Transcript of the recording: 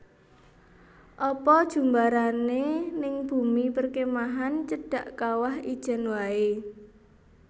Apa jumbarane ning bumi perkemahan cedhak Kawah Ijen wae